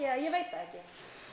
eða ég veit ekki